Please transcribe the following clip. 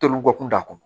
Toli kɔ kun t'a kɔnɔ